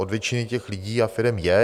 Od většiny těch lidí a firem je.